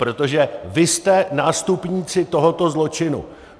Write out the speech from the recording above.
Protože vy jste nástupníci tohoto zločinu.